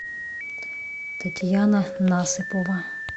татьяна насыпова